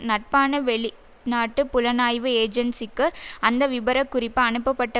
நட்பான வெளி நாட்டு புலனாய்வு ஏஜென்சிக்கு அந்த விபரக் குறிப்பு அனுப்பப்பட்ட